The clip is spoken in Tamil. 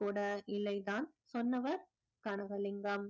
கூட இல்லைதான் சொன்னவர் கனகலிங்கம்